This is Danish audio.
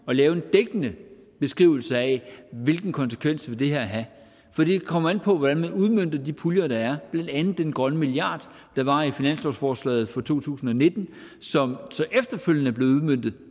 lave en dækkende beskrivelse af hvilken konsekvens vil have for det kommer an på hvordan man udmønter de puljer der er blandt andet den grønne milliard der var i finanslovsforslaget for to tusind og nitten og som så efterfølgende er blevet udmøntet i